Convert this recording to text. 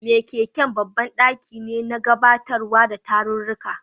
Makeken babban daki ne na gabatarwa da tarurruka.